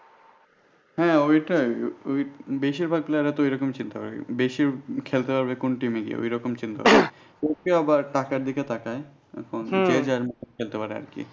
হ্যাঁ ওইটাই বেশীরভাগ player রা তো এরকমই চিন্তা করে বেশি খেলতে পারবে কোন team এ গিয়ে এরকম চিন্তা ভাবনা করে যে যেরকম খেলতে পারবে আর কি।